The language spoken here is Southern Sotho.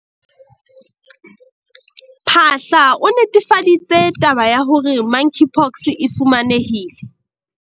Phaahla, o netefaditse taba ya hore Monkeypox e fumanehile